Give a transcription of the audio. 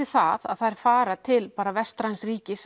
það að þær fara til vestræns ríkis